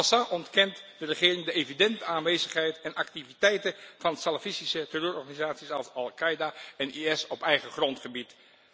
En passant ontkent de regering de evidente aanwezigheid en activiteiten van salafistische terreurorganisaties als Al Qaida en IS op eigen grondgebied.